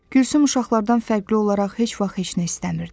Gülsüm uşaqlardan fərqli olaraq heç vaxt heç nə istəmirdi.